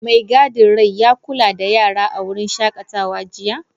Mai gadin rai ya kula da Yarana a wurin shakatawa jiya?